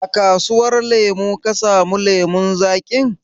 A kasuwar lemu ka samu lemun zaƙin?